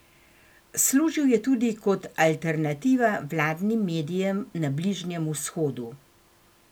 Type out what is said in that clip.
Služil je tudi kot alternativa vladnim medijem na Bližnjem vzhodu.